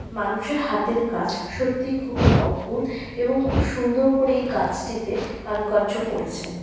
মানুষের হাতের কাজ সত্যিই খুবই অদ্ভুত এবং খুব সুন্দর করে এই গাছটিতে কারুকার্য করেছে।